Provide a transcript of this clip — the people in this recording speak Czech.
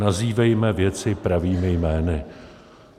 Nazývejme věci pravými jmény.